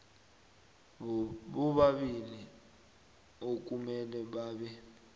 bobabili okumele babe